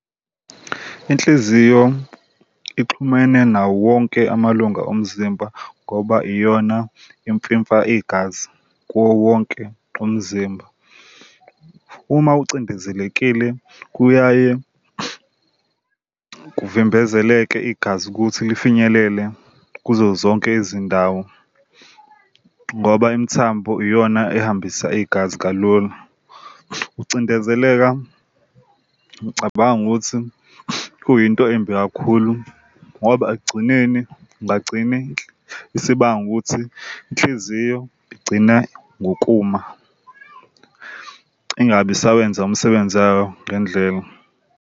Inhliziyo ixhumene nawo wonke amalunga omzimba ngoba iyona imfifa igazi kuwowonke umzimba. Uma ucindezelekile kuyaye kuvimbezeleke igazi ukuthi lifinyelele kuzo zonke izindawo ngoba imithambo iyona ehambisa igazi kalula. Ukucindezeleka ngicabanga ukuthi kuyinto embi kakhulu ngoba ekugcineni kungagcine isibanga ukuthi inhliziyo igcine ngokuma ingabi isawenza umsebenzi wayo ngendlela.